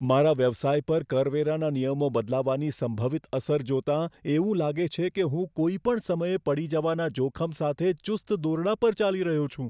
મારા વ્યવસાય પર કરવેરાના નિયમો બદલાવાની સંભવિત અસર જોતાં એવું લાગે છે કે હું કોઈ પણ સમયે પડી જવાના જોખમ સાથે ચુસ્ત દોરડા પર ચાલી રહ્યો છું.